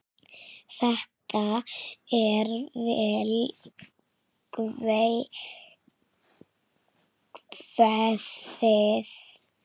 Þetta er vel kveðið.